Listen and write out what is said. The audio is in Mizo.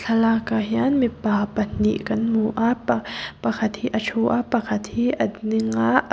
thlalâkah hian mipa pahnih kan hmu a pa pakhat hi a ṭhu a pakhat hi a ding a a--